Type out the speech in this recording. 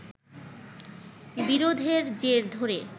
বিরোধের জের ধরে